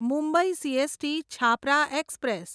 Mumbai CST Chhapra express